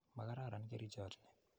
Makararan kerichot ni.